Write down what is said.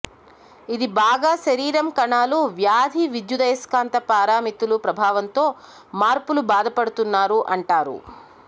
ఇది బాగా శరీరం కణాలు వ్యాధి విద్యుదయస్కాంత పారామితులు ప్రభావంతో మార్పులు బాధపడుతున్నారు అంటారు